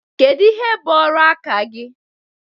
Kedu ihe bụ ọrụ aka gị?